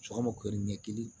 Sɔgɔma kori ɲɛkili